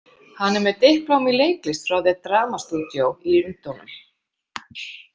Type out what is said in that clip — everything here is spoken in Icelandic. Hann er með diplómu í leiklist frá „The Drama Studio“ í Lundúnum.